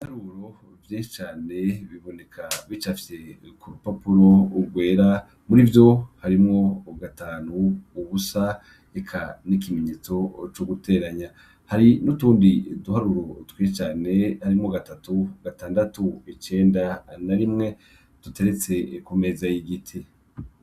Ibiharuro vyinshi cane biboneka bicafye ku rupapuro gwera muri vyo harimwo gatanu ubusa reka n'ikimenyetso co guteranya hari nutundi duharuro twinshi cane harimwo gatatu gatandatu icenda na rimwe tuteretse ku meza y'igiti